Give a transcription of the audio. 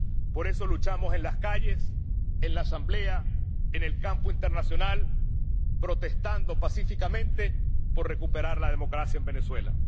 Por eso luchamos en las calles, en la Asamblea, en el campo internacional, protestando pacíficamente por recuperar la democracia en Venezuela.